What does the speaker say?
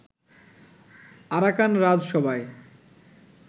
Arakan রাজসভায়